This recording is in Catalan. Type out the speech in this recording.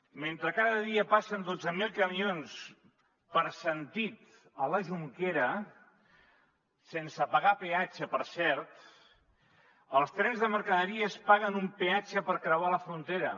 mentre cada dia passen dotze mil camions per sentit a la jonquera sense pagar peatge per cert els trens de mercaderies paguen un peatge per creuar la frontera